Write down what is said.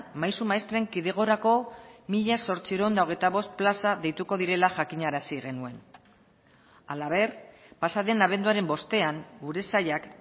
maisu maistren kidegorako mila zortziehun eta hogeita bost plaza deituko direla jakinarazi genuen halaber pasaden abenduaren bostean gure sailak